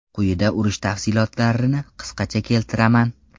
Quyida urush tafsilotlarini qisqacha keltiraman.